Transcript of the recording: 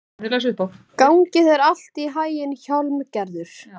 Gangi þér allt í haginn, Hjálmgerður.